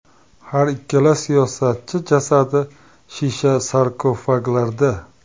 Har ikkala siyosatchi jasadi shisha sarkofaglarda.